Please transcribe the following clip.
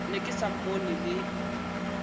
ne ke sa mmone le